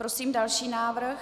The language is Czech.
Prosím další návrh.